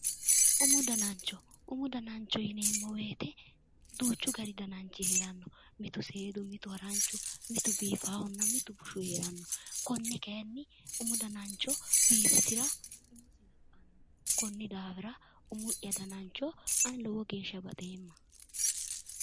Umu danancho yinneemmo woyte duuchu gari dananchi no, mitu seedu mitu haranchu mitu biifahunna mitu biifanokkihu no, umu danancho biifisira konni daafira umi'ya danancho ani lowo geeshsha baxeemma".